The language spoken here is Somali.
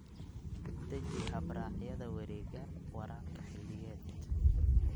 Deji habraacyada wareegga waraabka xilliyeed.